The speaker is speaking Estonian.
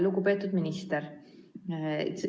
Lugupeetud minister!